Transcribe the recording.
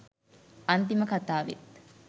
අන්තිම කතාවෙ ත්